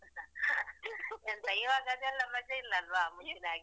ಎಂತ ಇವಾಗ ಅದೆಲ್ಲ ಮಜಾ ಇಲ್ಲ ಅಲ್ವಾ ಮುಂಚಿನಾಗೆ.